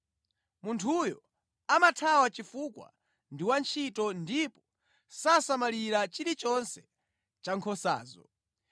Munthuyo amathawa chifukwa ndi wantchito ndipo sasamalira chilichonse cha nkhosazo.